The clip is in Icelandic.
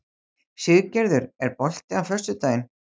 Siggerður, er bolti á föstudaginn?